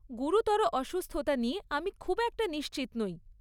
গুরুতর অসুস্থতা নিয়ে আমি খুব একটা নিশ্চিত নই।